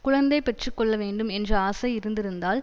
குழந்தை பெற்று கொள்ள வேண்டும் என்ற ஆசை இருந்திருந்தால்